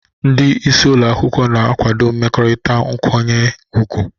Ndị isi ụlọ akwụkwọ na-akwado mmekọrịta nkwanye ùgwù.